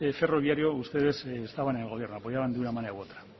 ferroviario ustedes estaban en el gobierno apoyaban de una manera u otra